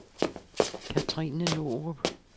Cathrine Norup